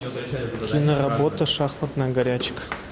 киноработа шахматная горячка